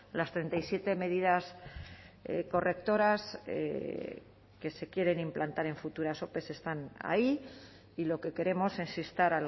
las treinta y siete medidas correctoras que se quieren implantar en futuras ope están ahí y lo que queremos es instar